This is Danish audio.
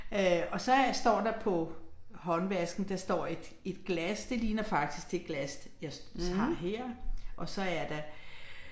Øh og så står der på håndvasken der står et et glas det ligner faktisk det glas jeg har her og så er der